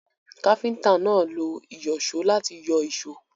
Káfíntà náà lo ìyọ̀só láti yọ èsó.